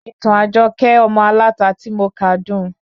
Ìtàn Ajoke ọmọ aláta ti mo ka dun